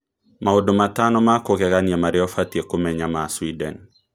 Maũndũ matano ma kũgegania maria ufatie kũmenya ma Sweden